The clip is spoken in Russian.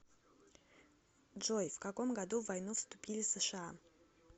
джой в каком году в войну вступили сша